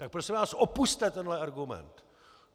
Tak prosím vás opusťte tenhle argument!